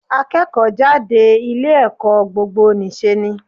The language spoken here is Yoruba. Akẹ́kọ̀ọ́ jáde ilé ẹ̀kọ́ gbogbo nì ṣe ni.